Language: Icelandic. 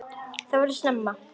Það voraði snemma.